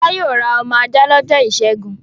Fọlá yóò ra ọmọ ajá lọ́jọ́ ìṣẹ́gun.